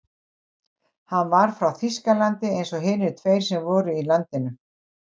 Hann var frá Þýskalandi eins og hinir tveir sem fyrir voru í landinu.